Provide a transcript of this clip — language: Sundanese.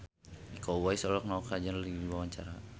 Iko Uwais olohok ningali Kajol keur diwawancara